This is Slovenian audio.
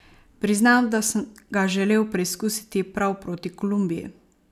Priznam, da sem ga želel preizkusiti prav proti Kolumbiji.